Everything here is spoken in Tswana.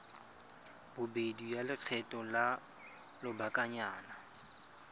bobedi ya lekgetho la lobakanyana